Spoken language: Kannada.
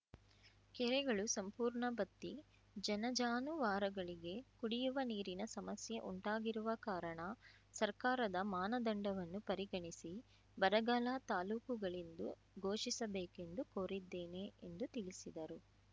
ಕೆರೆಗಳು ಸಂಪೂರ್ಣ ಬತ್ತಿ ಜನ ಜಾನುವಾರುಗಳಿಗೆ ಕುಡಿಯುವ ನೀರಿನ ಸಮಸ್ಯೆ ಉಂಟಾಗಿರುವ ಕಾರಣ ಸರ್ಕಾರದ ಮಾನದಂಡವನ್ನು ಪರಿಗಣಿಸಿ ಬರಗಾಲ ತಾಲೂಕುಗಳೆಂದು ಘೋಷಿಸಬೇಕೆಂದು ಕೋರಿದ್ದೇನೆ ಎಂದು ತಿಳಿಸಿದರು